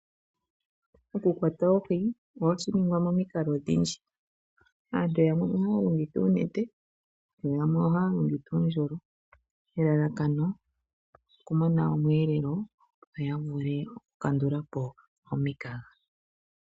Okukwata oohi ohashi ningwa momikalo odhindji aantu yamwe ohaya longitha oonete yo yamwe ohaya longitha uundjolo elalakano okumona omwelelo yo ya vule okukandula po omikaga.